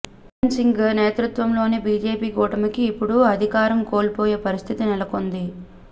బీరన్ సింగ్ నేతృత్వంలోని బీజేపీ కూటమికి ఇప్పుడు అధికారం కోల్పోయే పరిస్థితి నెలకొంది